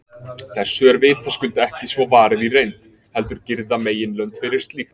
Þessu er vitaskuld ekki svo varið í reynd, heldur girða meginlönd fyrir slíkt.